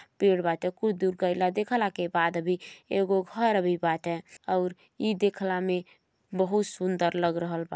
पेड़ बाटे। कुछ दूर देखला के बाद भी एगो घर भी बाटे और ई देखला में बहुत सुन्दर लग रहल बा।